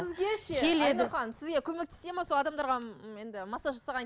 сізге ше айнұр ханым сізге көмектесе ме сол адамдарға енді массаж